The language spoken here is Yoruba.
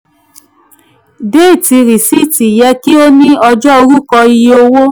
déètì risiiti yẹ kí o ní ọjọ́ orúkọ iye owó.